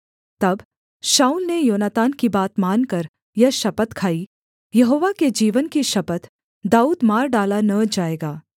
तब शाऊल ने योनातान की बात मानकर यह शपथ खाई यहोवा के जीवन की शपथ दाऊद मार डाला न जाएगा